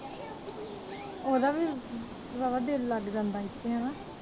ਉਹਦਾ ਵੀ ਵਾਹਵਾ ਦਿਲ ਲੱਗ ਜਾਂਦਾ ਇੱਥੇ ਹੈ ਨਾ